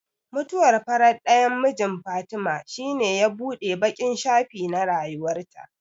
Mutuwar farar ɗayan mijin Fatima shine ya buɗe baƙin shafi na rayuwarta.